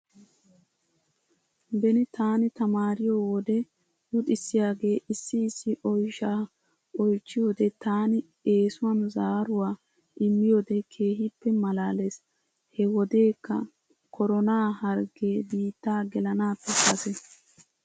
Beni taani tamaariyoo wode luxissiyaagee issi issi oyshaa oychchiyoodee taani essuwan zaaruwaa immiyoodee keehippe malaalettes. He wodeekka koronaa harggee biittaa gelanaappe kase.